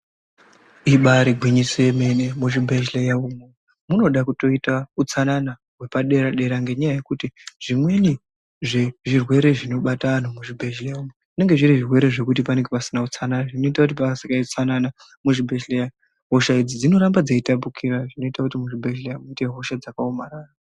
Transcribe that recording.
Ibari gwinyiso yemene muzvibhedhleya umwo munoda kutoita utsanana hwepadera dera ngenyaya yekuti zvimweni zvirwere zvinobata antu muzvibhedhleya umwo zvinenge zviri zvirwere zvekuti panenge pasina utsanana zvinoita kuti pakasaite utsanana muzvibhedhleya hosha idzi dzinoramba dzeitapukira zvinoita kuti muzvibhedhleya muite hosha dzakaomarara.